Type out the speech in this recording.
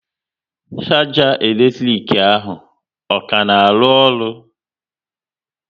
Sharger elektrik ahụ, ọ ka na arụ ọrụ?